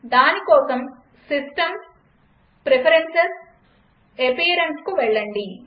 దానికోసం System gtPreferences gtAppearanceవెళ్లండి